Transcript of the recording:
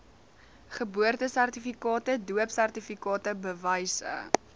geboortesertifikate doopsertifikate bewyse